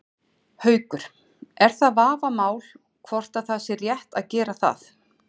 Haukur: Er það vafamál hvort að það sé rétt að gera það?